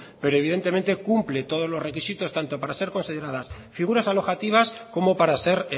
pero evidentemente cumple todos los requisitos tanto para ser consideradas figuras alojativas como para ser